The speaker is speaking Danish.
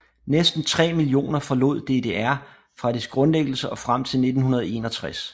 Næsten 3 millioner forlod DDR fra dets grundlæggelse og frem til 1961